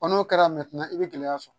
n'o kɛra i bɛ gɛlɛya sɔrɔ